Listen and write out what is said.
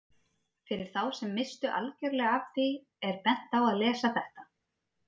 Fyrir þá sem misstu algjörlega af því er bent á að lesa þetta.